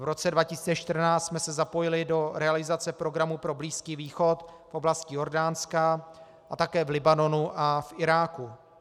V roce 2014 jsme se zapojili do realizace programu pro Blízký východ v oblasti Jordánska a také v Libanonu a v Iráku.